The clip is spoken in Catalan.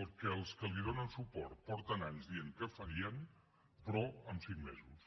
el que els que li donen suport porten anys dient que farien però en cinc mesos